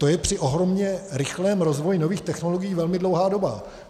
To je při ohromně rychlém rozvoji nových technologií velmi dlouhá doba.